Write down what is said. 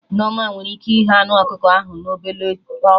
Nneoma nwere ike ighe anụ ọkụkọ ahụ na ọbele ọkụ